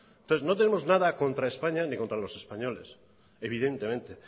entonces no tenemos nada ni contra españa ni contra los españoles evidentemente